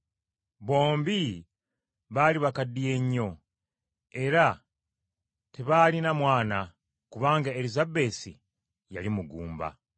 Bombi baali bakaddiye nnyo, era tebaalina mwana, kubanga Erisabesi yali mugumba.